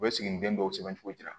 U bɛ siginiden dɔw sɛbɛncogo di